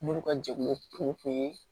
Munnu ka jɛkulu kun ye